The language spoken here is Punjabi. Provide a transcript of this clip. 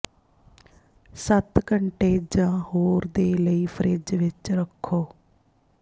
ਸੱਤ ਘੰਟੇ ਜ ਹੋਰ ਦੇ ਲਈ ਫਰਿੱਜ ਵਿੱਚ ਰੱਖੋ